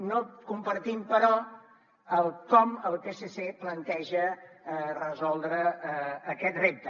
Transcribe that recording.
no compartim però el com el psc planteja resoldre aquest repte